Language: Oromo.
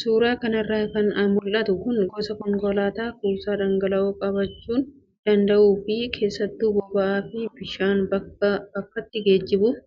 Suuraa kanarraa kan mul'atu kun gosa konkolaataa kuusaa dhangala'oo qabachuu danda'uu fi keessattuu boba'aa fi bishaan bakkaa bakkatti geejjibuuf